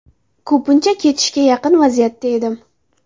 Ko‘pincha ketishga yaqin vaziyatda edim.